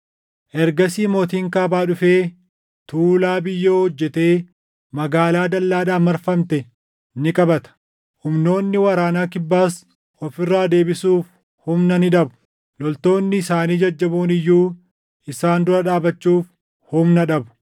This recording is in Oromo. Ergasii mootiin Kaabaa dhufee tuulaa biyyoo hojjetee magaalaa dallaadhaan marfamte ni qabata. Humnoonni waraana Kibbaas of irraa deebisuuf humna ni dhabu; loltoonni isaanii jajjaboon iyyuu isaan dura dhaabachuuf humna dhabu.